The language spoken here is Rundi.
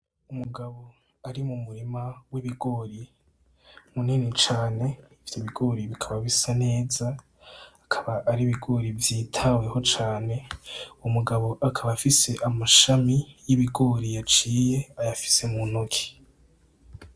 Umugabo ari mu murima w'ibigori munini cane, ivyo bigori bikaba bisa neza, akaba ari ibigori vyitaweho cane, umugabo akaba afise amashami y'ibigori yaciye, ayafise mu ntoki.